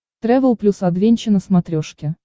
трэвел плюс адвенча на смотрешке